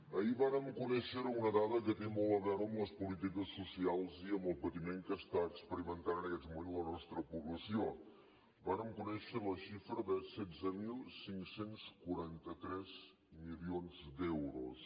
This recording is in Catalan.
ahir vàrem conèixer una dada que té molt a veure amb les polítiques socials i amb el patiment que experimenta en aquests moments la nostra població vàrem conèixer la xifra de setze mil cinc cents i quaranta tres milions d’euros